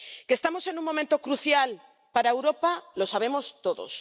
Que estamos en un momento crucial para Europa lo sabemos todos.